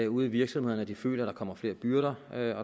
ude i virksomhederne at de føler at der kommer flere byrder